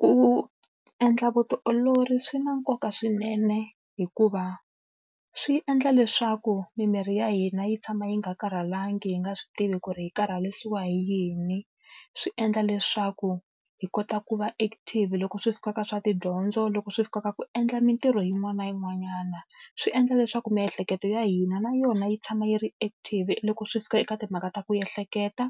Ku endla vutiolori swi na nkoka swinene hikuva swi endla leswaku mimiri ya hina yi tshama yi nga karhalangi, hi nga swi tivi ku ri hi karharisiwa hi yini. Swi endla leswaku hi kota ku va active loko swi fika ka swa tidyondzo, loko swi fika ka ku endla mintirho yin'wana na yin'wanyana. Swi endla leswaku miehleketo ya hina na yona yi tshama yi ri active loko swi fika eka timhaka ta ku ehleketa,